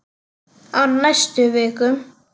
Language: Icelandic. Á næstu vikum.